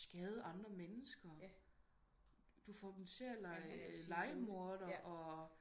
Skade andre mennesker du får dem til at leje lejemordere og